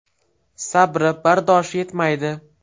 Sabri, bardoshi yetmaydi.